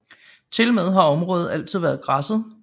Tilmed har området altid været græsset